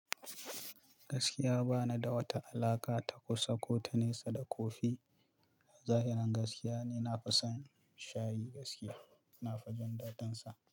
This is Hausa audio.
Gaskiya ba ni da wata alaƙa ta kusa ko ta nesa da kofi. A zahirin gaskiya ne na fi son shayi gaskiya, na fi jin dadin sa.